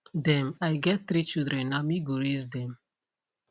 dem i get three children na me go raise dem